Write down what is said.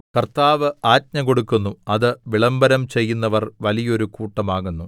കർത്താവ് ആജ്ഞ കൊടുക്കുന്നു അത് വിളംബരം ചെയ്യുന്നവർ വലിയോരു കൂട്ടമാകുന്നു